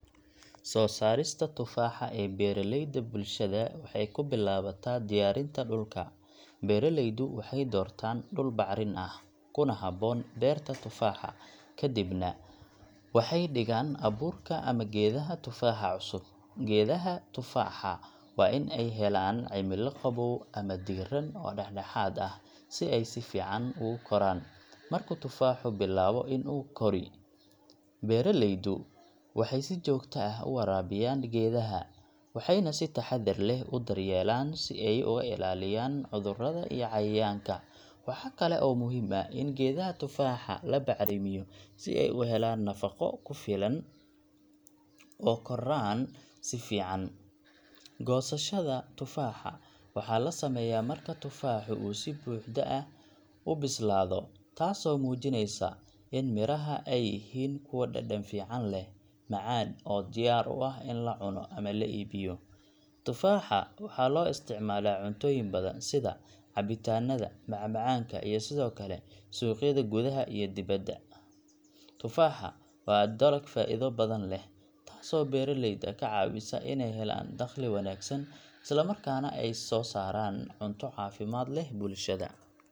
Soo saarista tufaaxa ee beeraleyda bulshada waxay ku bilaabataa diyaarinta dhulka. Beeraleydu waxay doortaan dhul bacrin ah, kuna habboon beerta tufaaxa, ka dibna waxay dhigaan abuurka ama geedaha tufaaxa cusub. Geedaha tufaaxa waa in ay helaan cimilo qabow ama diirran oo dhexdhexaad ah, si ay si fiican ugu koraan. Marka tufaaxu bilaabo in uu kori, beeraleydu waxay si joogto ah u waraabiyaan geedaha, waxayna si taxaddar leh u daryeelaan si ay uga ilaaliyaan cudurada iyo cayayaanka. Waxa kale oo muhiim ah in geedaha tufaaxa la bacrimiyo si ay u helaan nafaqo ku filan oo koraan si fiican. Goosashada tufaaxa waxaa la sameeyaa marka tufaaxu uu si buuxda ah u bislaado, taasoo muujinaysa in midhaha ay yihiin kuwo dhadhan fiican leh, macaan, oo diyaar u ah in la cuno ama la iibiyo. Tufaaxa waxaa loo isticmaalaa cuntooyin badan, sida cabitaanada, macmacaanka, iyo sidoo kale suuqyada gudaha iyo dibaddaba. Tufaaxa waa dalag faa’iido badan leh, taasoo beeraleyda ka caawisa inay helaan dakhli wanaagsan isla markaana ay soo saaraan cunto caafimaad leh bulshada.